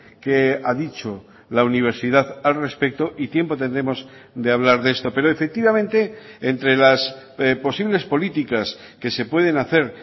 que ha dicho la universidad al respecto y tiempo tendremos de hablar de esto pero efectivamente entre las posibles políticas que se pueden hacer